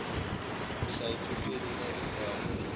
nhla ephepheni elalibhalwe